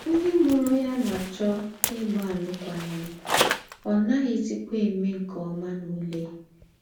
Ńdị́ mùrù ya ná-àchọ̀ ígbà àlụ́kwághìm, ọ́ ná-aghị̀zìkwá èmé nke ómà n’ùlè.